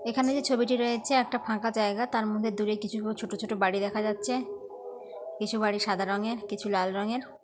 এখানে যে ছবিটি রয়েছে একটা ফাঁকা জায়গা তার মধ্যে দূরে কিছু ছোট ছোট বাড়ি দেখা যাচ্ছে। কিছু বাড়ি সাদা রঙের কিছু লাল রঙের।